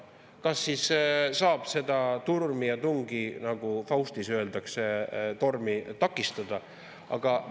Kas siis saab seda tormi ja tungi, nagu "Faustis" öeldakse, takistada?